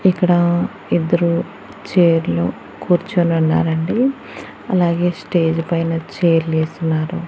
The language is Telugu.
ఇక్కడా ఇద్దరూ చైర్ లో కూర్చొని ఉన్నారు అండి అలాగే స్టేజ్ పైన చైర్ లు ఏసున్నారు.